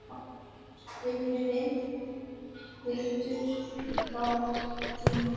Vinurinn léttur í gættinni.